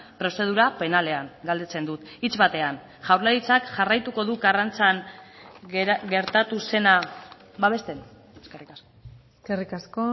prozedura penalean galdetzen dut hitz batean jaurlaritzak jarraituko du karrantzan gertatu zena babesten eskerrik asko eskerrik asko